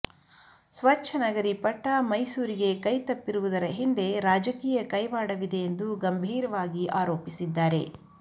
ಸ್ಚಚ್ಛನಗರಿ ಪಟ್ಟ ಮೈಸೂರಿಗೆ ಕೈ ತಪ್ಪಿರುವುದರ ಹಿಂದೆ ರಾಜಕೀಯ ಕೈವಾಡವಿದೆ ಎಂದು ಗಂಭೀರವಾಗಿ ಆರೋಪಿಸಿದ್ದಾರೆ